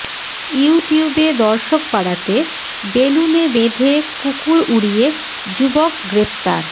ইউটিউবে দর্শক বাড়াতে বেলুনে বেঁধে কুকুর উড়িয়ে যুবক গ্রেফতার